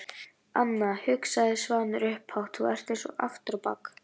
Anna, hugsaði Svanur upphátt, þú ert eins aftur á bak.